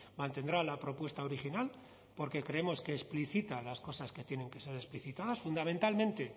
mantendrá la propuesta original porque creemos que explicita las cosas que tienen que ser explicitadas fundamentalmente